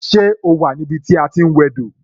Ṣé o wà ní ibi tí a ti ń wẹ do?